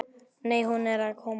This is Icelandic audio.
Nei, hún er að koma.